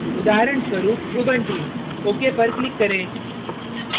उदाहरणस्वरूप ubuntu ok पर click करें